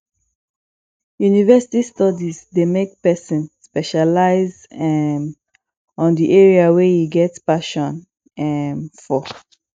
university studies de make persin specialize um on the area wey e get passion um for